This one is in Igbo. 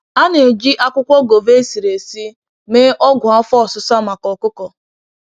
A na-eji akwukwo gova esiri esi mee ọgwụ afọ osisa maka ọkụkọ.